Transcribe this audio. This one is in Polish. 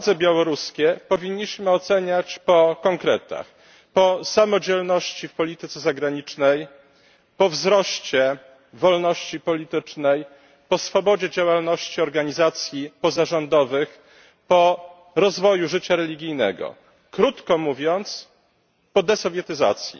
Władze białoruskie powinniśmy oceniać po konkretach, po samodzielności w polityce zagranicznej, po wzroście wolności politycznej, po swobodzie działalności organizacji pozarządowych, po rozwoju życia religijnego, krótko mówiąc po desowietyzacji.